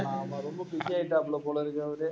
ஆமா ரொம்ப busy ஆயிட்டாப்ல போல இருக்கு அவரு?